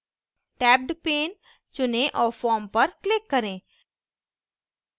tabbed pane चुनें और form पर click करें